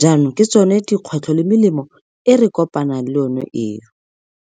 jaanong ke tsone dikgwetlho le melemo e re kopanang le yone eo.